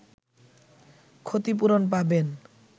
ক্ষতিপূরণ পাবেন